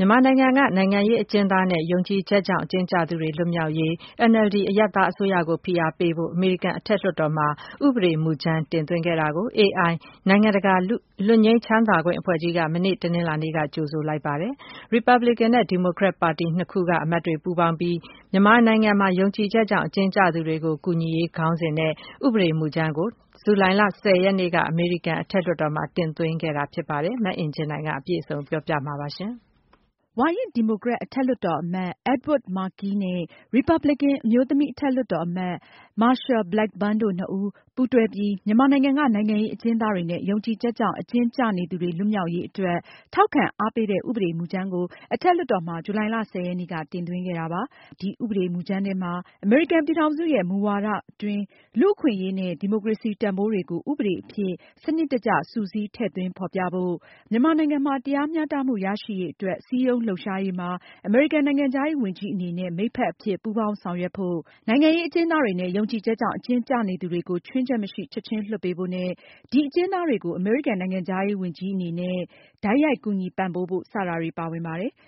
မြန်မာနိုင်ငံက နိုင်ငံရေးအကျဉ်းသားတွေနဲ့ ယုံကြည်ချက်ကြောင့် အကျဉ်းကျသူတွေ လွတ်မြောက်ရေး NLD အရပ်သားအစိုးရကို ဖိအားပေးဖို့ အမေရိကန် အထက်လွှတ်တော်မှာ ဥပဒေမူကြမ်း တင်သွင်းခဲ့တာကို AI နိုင်ငံတကာ လွတ်ငြိမ်းချမ်းသာခွင့်အဖွဲ့ကြီးက မနေ့ တနင်္လာနေ့က ကြိုဆိုလိုက်ပါတယ်။ ရီပါပလင်ကန်နဲ့ ဒီမိုကရက်ပါတီနှစ်ခုက အမတ်တွေပူးပေါင်းပြီး မြန်မာနိုင်ငံ ယုံကြည်ချက်ကြောင့် အကျဉ်းကျသူတွေကို ကူညီရေး ခေါင်းစဉ်နဲ့ ဥပဒေမူကြမ်းကို ဇူလိုင်လ ၁၀ ရက်နေ့က အမေရိကန်အထက်လွှတ်တော်မှာ တင်သွင်းခဲ့တာပါ။ မအင်ကြင်းနိုင်က အပြည့်အစုံတင်ပြမှာပါ။ ဝါရင့် ဒီမိုကရက် အထက်လွှတ်တော်အမတ် Edward Markey နဲ့ ရီပါပလင်ကန် အမျိုးသမီး အထက်လွှတ်တော်အမတ် Marsha Blackburn တို့နှစ်ဦး ပူးတွဲပြီး မြန်မာနိုင်ငံက နိုင်ငံရေး အကျဉ်းသားတွေနဲ့ ယုံကြည်ချက်ကြောင့် အကျဉ်းကျနေသူတွေ လွတ်မြောက်ရေးအတွက် ထောက်ခံအားပေးတဲ့ ဥပဒေမူကြမ်းကို အထက်လွှတ်တော်မှာ ဇူလိုင်လ ၁၀ ရက်နေ့က တင်သွင်းခဲ့တာပါ။ ဒီဥပဒေမူကြမ်းထဲမှာ အမေရိကန်ပြည်ထောင်စုရဲ့ မူဝါဒအတွင်း လူ့အခွင့်အရေးနဲ့ ဒီမိုကရေစီ တန်ဖိုးတွေကို ဥပဒေအဖြစ် စနစ်တကျ စုစည်းထည့်သွင်းဖေါ်ပြဖို့၊ မြန်မာနိုင်ငံမှာ တရားမျှတမှု ရရှိရေးအတွက် စည်းရုံးလှုပ်ရှားရေးမှာ အမေရိကန်နိုင်ငံခြားရေးဝန်ကြီး အနေနဲ့ မိတ်ဖက်အဖြစ် ပူးပေါင်းဆောင်ရွက်ဖို့၊ နိုင်ငံရေးအကျဉ်းသားတွေနဲ့ ယုံကြည်ချက်ကြောင့် အကျဉ်းကျနေသူတွေကို ချွင်းချက်မရှိ ချက်ချင်းလွှတ်ပေးဖို့နဲ့၊ ဒီအကျဉ်းသားတွေကို အမေရိကန် နိုင်ငံခြားရေးဝန်ကြီး အနေနဲ့ တိုက်ရိုက် ကူညီပံ့ပိုးဖို့ စတာတွေပါဝင်ပါတယ်။